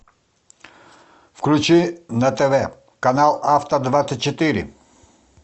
включи на тв канал авто двадцать четыре